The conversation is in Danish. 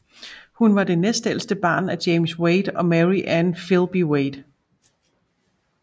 Hun var det næstældste barn af James Wade og Mary Ann Filby Wade